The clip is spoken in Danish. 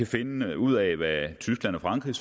finde ud af hvad tyskland og frankrig